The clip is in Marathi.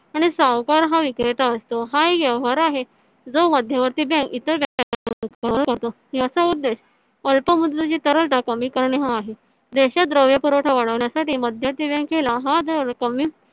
आणि सावकार हा विक्रेता असतो. हा व्यवहार आहे जो मध्यवर्ती bank इतर याचा उद्धेश अल्पमुद्रेची तरळता कमी करणे हा आहे. देशात द्रव्य पुरवठा वाढवण्यासाठी मध्यवर्ती bank ला हा दर कमी